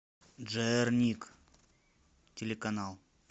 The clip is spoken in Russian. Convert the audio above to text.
джерник телеканал